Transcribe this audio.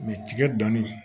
mɛ tigɛ dani